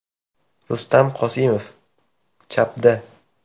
Rustam Qosimov (chapda).